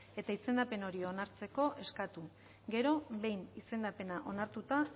eta izendapen hori onartzeko eskatu gero behin izendapena onartuta